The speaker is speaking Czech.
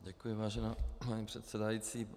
Děkuji, vážená paní předsedající.